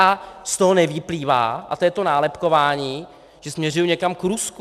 A z toho nevyplývá, a to je to nálepkování, že směřuji někam k Rusku.